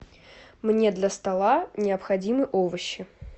мне для стола необходимы овощи